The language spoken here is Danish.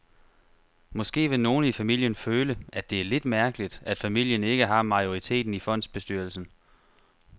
Måske vil nogle i familien føle, at det er lidt mærkeligt, at familien ikke har majoriteten i fondsbestyrelsen.